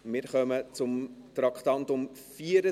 Wir kommen zum Traktandum 74.